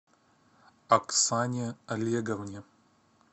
аксане олеговне